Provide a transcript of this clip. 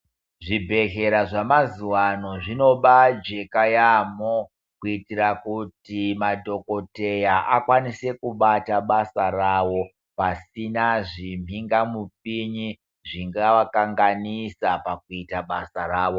Zvibhehlera zvamazuano zvinoba jeka yampo kuitira kuti madhokoteya akone kubata basa ravo pasina zvimhingapinyi zvangava kanganisa pakuita basa ravo.